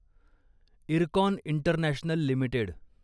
IRCON International limited